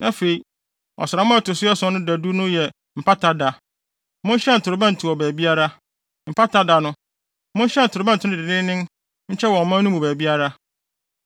Afei, ɔsram a ɛto so ason no da du no yɛ Mpata Da. Monhyɛn torobɛnto wɔ baabiara. Mpata Da no, monhyɛn torobɛnto no denneennen nkyɛ wɔ ɔman no mu baabiara.